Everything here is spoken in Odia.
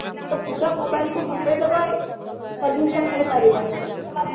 ତ ପୁରା mobile କୁ ହଟେଇ ଦବା ଇ solution ହେଇ ପାରିବନି ସେମାନଙ୍କୁ